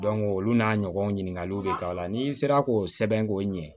olu n'a ɲɔgɔn ɲininkaliw de k'a la n'i sera k'o sɛbɛn k'o ɲɛ